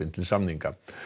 til samninga